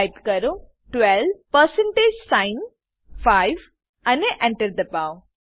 type કરો 12 percentage sign 5 અને Enter દબાવો